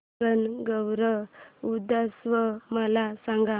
गणगौर उत्सव मला सांग